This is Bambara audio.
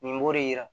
Nin b'o de yira